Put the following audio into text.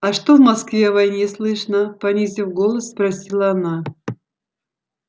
а что в москве о войне слышно понизив голос спросила она